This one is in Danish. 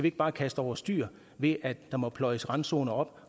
ikke bare kaste over styr ved at der må pløjes randzoner op